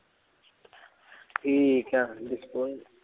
ਠੀਕ ਆ disposal